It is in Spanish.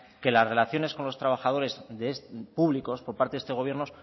que las relaciones con los trabajadores públicos por parte de este gobierno